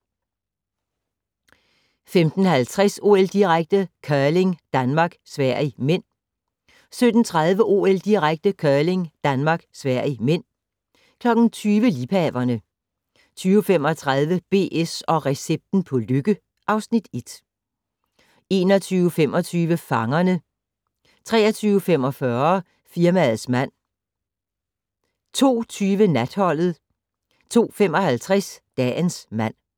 15:50: OL-direkte: Curling - Danmark-Sverige (m) 17:30: OL-direkte: Curling - Danmark-Sverige (m) 20:00: Liebhaverne 20:35: BS & recepten på lykke (Afs. 1) 21:25: Fangerne 23:45: Firmaets mand 02:20: Natholdet 02:55: Dagens mand